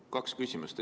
Kaks küsimust.